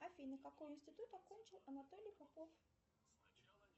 афина какой институт окончил анатолий попов